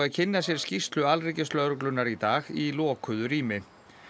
kynna sér skýrslu alríkislögreglunnar í dag í lokuðu rými